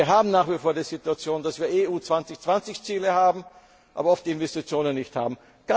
Denn wir haben nach wie vor die Situation, dass wir EU 2020 Ziele haben, aber oft die Investitionen nicht haben.